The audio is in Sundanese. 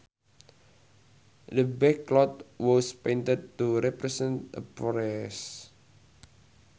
The backcloth was painted to represent a forest